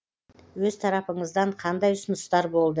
өз тарапыңыздан қандай ұсыныстар болды